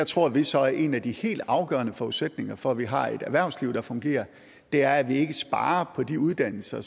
tror vi så at en af de helt afgørende forudsætninger for at vi har et erhvervsliv der fungerer er at vi ikke sparer på de uddannelser